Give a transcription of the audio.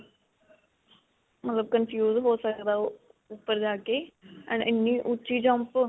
ਮਤਲਬ confuse ਹੋ ਸਕਦਾ ਓਹ ਉਪਰ ਜਾ ਕੇ. ਇੰਨੀ ਉੱਚੀ jump.